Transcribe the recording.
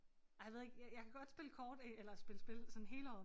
Ej jeg ved ikke jeg jeg kan godt spille kort eller spille spil sådan hele året